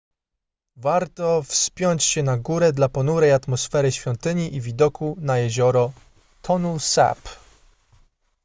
warto wspiąć się na górę dla ponurej atmosfery świątyni i widoku na jezioro tonle sap